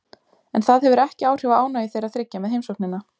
En það hefur ekki áhrif á ánægju þeirra þriggja með heimsóknina.